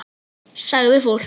Sagði fólk.